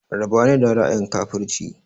Raba ni da ra'ayin kafurci!